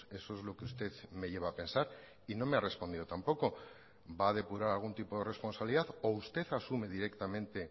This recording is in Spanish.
eso es lo que usted me lleva a pensar y no me ha respondido tampoco va a depurar algún tipo de responsabilidad o usted asume directamente